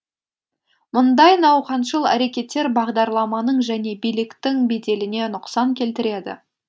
мұндай науқаншыл әрекеттер бағдарламаның және биліктің беделіне нұқсан келтіреді